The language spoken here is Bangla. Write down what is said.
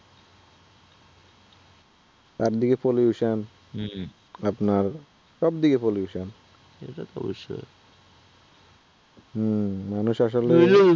একদিকে pollution আপনার সবদিকে pollution হুম মানুষ আসলে